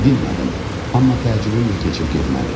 Dinmədim, amma təəccübüm də keçib getmədi.